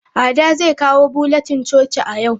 Ada zai kawo bulletin coci a yau.